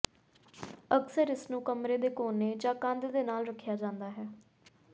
ਅਕਸਰ ਇਸਨੂੰ ਕਮਰੇ ਦੇ ਕੋਨੇ ਜਾਂ ਕੰਧ ਦੇ ਨਾਲ ਰੱਖਿਆ ਜਾਂਦਾ ਹੈ